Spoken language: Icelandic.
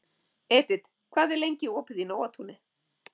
Edit, hvað er lengi opið í Nóatúni?